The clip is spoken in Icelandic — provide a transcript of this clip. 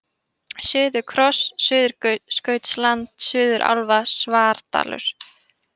Suðurkross, Suðurskautsland, Suðurálfa, Svardalur